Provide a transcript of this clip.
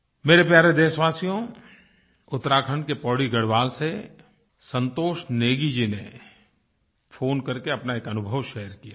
मेरे प्यारे देशवासियो उत्तराखण्ड के पौड़ी गढ़वाल से संतोष नेगी जी ने फोन करके अपना एक अनुभव शेयर किया है